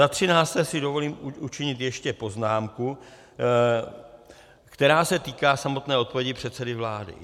Za třinácté si dovolím učinit ještě poznámku, která se týká samotné odpovědi předsedy vlády.